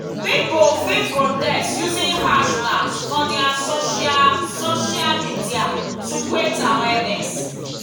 pipo fit protest using hashtags for their social social medial to create awearness